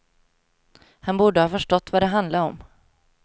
Han borde ha förstått vad det handlade om.